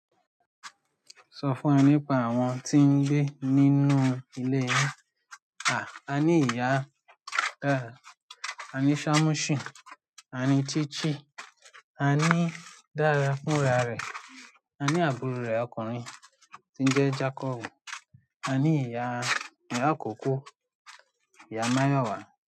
Sọ fún ẹ nípa àwọn tí ń gbé nínú ilé rẹ. Aa ní ìyá, a ní Shamoshin, a ní Chichi, a ní Dara fúnra rẹ̀, a ní àbúrò rẹ̀ ọkùnrin tí ń jẹ́ Jacob, a ní ìyá, ìyá àkọ́kọ́, Ìyá Máyọ̀wá.